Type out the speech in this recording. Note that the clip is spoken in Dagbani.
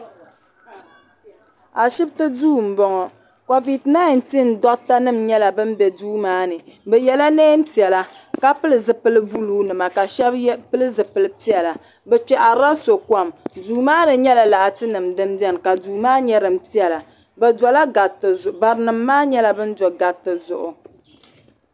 Ashibiti duu m-bɔŋɔ Koviti -19 dɔɣita nima nyɛla ban be duu maa ni bɛ yela neen' piɛla ka pili zupil' buluu nima ka shɛba pili zupil' piɛla bɛ kpɛhiri la so kom duu maa ni nyɛla laatinima din beni ka duu maa nyɛ din piɛla bɛ dola gariti zuɣu barinima maa nyɛla ban do gariti zuɣu.